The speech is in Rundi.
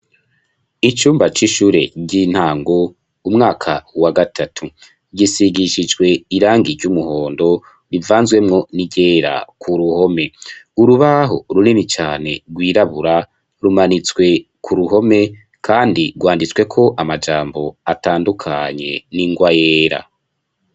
Icumba c'ishure ry'intango, mu mwaka wa gatatu, gisigishijwe irangi ry'umuhondo rivanzemwo ni ryera ku ruhome, urubaho runini cane rwiraburabura rumanitswe ku ruhome, kandi rwanditseko amajambo atandukanye n'ingwa yera.